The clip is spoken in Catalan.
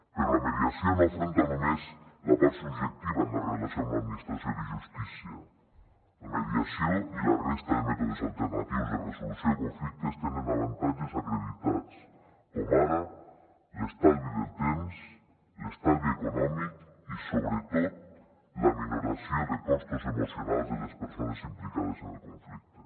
però la mediació no afronta només la part subjectiva en la relació amb l’administració de justícia la mediació i la resta de mètodes alternatius de resolució de conflictes tenen avantatges acreditats com ara l’estalvi del temps l’estalvi econòmic i sobretot la minoració de costos emocionals de les persones implicades en el conflicte